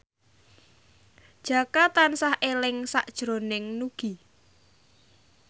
Jaka tansah eling sakjroning Nugie